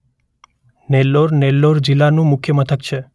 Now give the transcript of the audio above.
નેલ્લોર નેલ્લોર જિલ્લાનું મુખ્ય મથક છે.